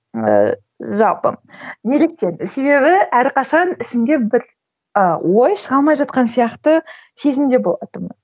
ііі жалпы неліктен себебі әрқашан ішімде бір ыыы ой шыға алмай жатқан сияқты сезімде болатынмын